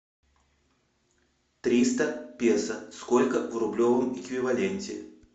триста песо сколько в рублевом эквиваленте